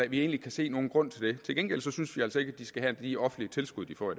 vi egentlig kan se nogen grund til det til gengæld synes vi altså ikke at de skal have de offentlige tilskud de får